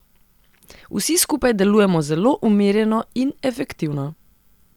Vsi skupaj delujemo zelo umirjeno in efektivno.